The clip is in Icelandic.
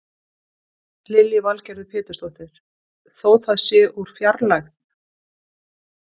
Lillý Valgerður Pétursdóttir: Þó það sé úr fjarlægð?